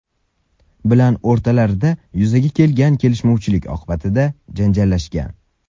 bilan o‘rtalarida yuzaga kelgan og‘zaki kelishmovchilik oqibatida janjallashgan.